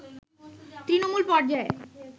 তৃণমূল পর্যায়ে